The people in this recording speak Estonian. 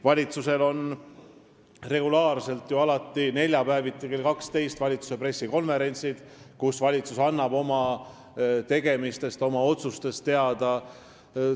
Valitsusel on regulaarselt neljapäeviti kell 12 pressikonverentsid, kus valitsus annab oma tegemistest ja otsustest teada.